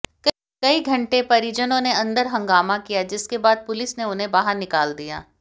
कई घंटे परिजनों ने अंदर हंगामा किया जिसके बाद पुलिस ने उन्हें बाहर निकाल दिया